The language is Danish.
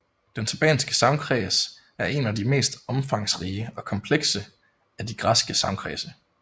Den thebanske sagnkreds er en af de mest omfangsrige og komplekse af de græske sagnkredse